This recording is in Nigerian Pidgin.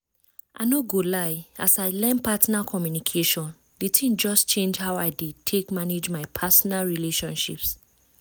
i no go lie as i learn partner communication the thing just change how i dey take manage my personal relationships